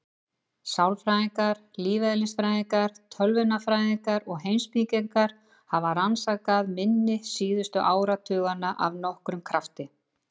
Sálfræðingar, lífeðlisfræðingar, tölvunarfræðingar og heimspekingar hafa rannsakað minni síðustu áratugina af nokkrum krafti.